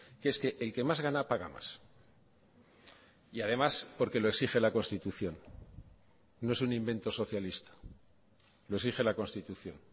que es que el que más gana paga más y además porque lo exige la constitución no es un invento socialista lo exige la constitución